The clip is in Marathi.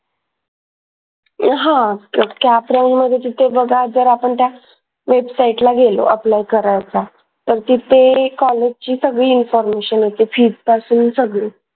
अह हा cap round मध्ये जिथे बघा जर आपण त्या वेबसाईटला गेलो apply करायला तर तिथे कॉलेजची सगळी information येते fees पासून सगळी